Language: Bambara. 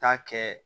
Taa kɛ